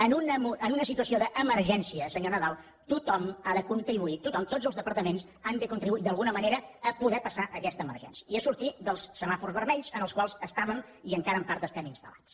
en una situació d’emergència senyor nadal tothom ha de contribuir tothom tots els departaments han de contribuir d’alguna manera a poder passar aquesta emergència i a sortir dels semàfors vermells en els quals estàvem i encara en part estem instal·lats